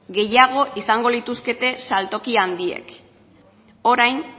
gehiago izango lituzkete saltoki handiek orain